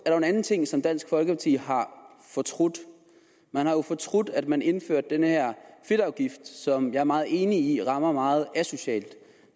der en anden ting som dansk folkeparti har fortrudt man har jo fortrudt at man indførte den her fedtafgift som jeg er meget enig i rammer meget asocialt